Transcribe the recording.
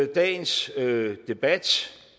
dagens debat